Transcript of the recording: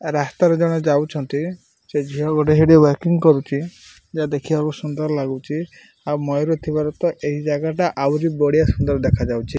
ଏ ରାସ୍ତା ରେ ଜଣେ ଯାଉଛନ୍ତି ସେ ଝିଅ ଗୋଟେ ସେଠି ୱାକିଂ କରୁଚି ଯା ଦେଖିବାକୁ ସୁନ୍ଦର ଲାଗୁଚି ଆଉ ମୟୂର ଥିବାରୁ ତ ଏହି ଜାଗା ଟା ଆଉରି ବଢ଼ିଆ ସୁନ୍ଦର ଦେଖାଯାଉଛି।